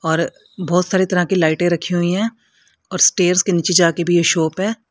और बहुत सारी तरह की लाइटें रखी हुई हैं और स्टेयर्स के नीचे जा के भी शॉप है।